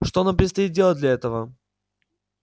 что нам предстоит делать для этого